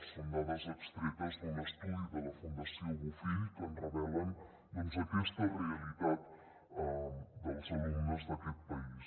són dades extretes d’un estudi de la fundació bofill que ens revelen doncs aquesta realitat dels alumnes d’aquest país